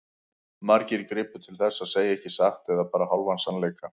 Margir gripu til þess að segja ekki satt eða bara hálfan sannleika.